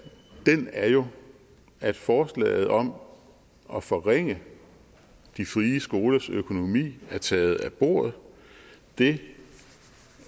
er jo at forslaget om at forringe de frie skolers økonomi er taget af bordet det